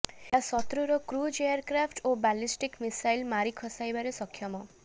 ଏହା ଶତ୍ରୁର cruise aircraft ଓ ବାଲିଷ୍ଟିକ୍ ମିସାଇଲ୍ ମାରି ଖସାଇବାରେ ସକ୍ଷମ